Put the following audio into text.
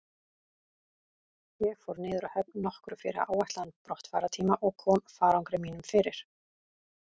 Ég fór niður að höfn nokkru fyrir áætlaðan brottfarartíma og kom farangri mínum fyrir.